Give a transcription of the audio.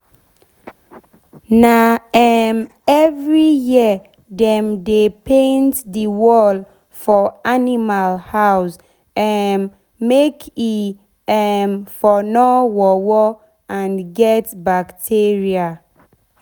na um every year dem dey paint the wall for animal house um make e um for nor worwor and get bacteria.